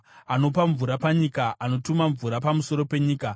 Anopa mvura panyika; anotuma mvura pamusoro penyika.